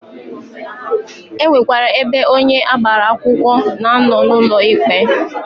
E nwekwara ebe onye agbara akwụkwọ na-anọ n'ụlọ ikpe.